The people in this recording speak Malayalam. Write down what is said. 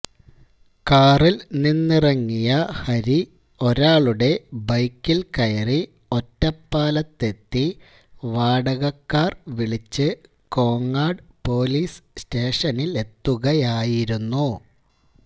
കാറില് നിന്നിറങ്ങിയ ഹരി ഒരാളുടെ ബൈക്കില്ക്കയറി ഒറ്റപ്പാലത്തെത്തി വാടക കാര് വിളിച്ച് കോങ്ങാട് പോലീസ് സ്റ്റേഷനിലെത്തുകയായിരുന്നു